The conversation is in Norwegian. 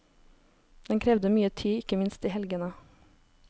Den krevde mye tid, ikke minst i helgene.